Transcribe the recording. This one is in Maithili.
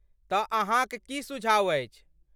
तँ, अहाँक की सुझाव अछि?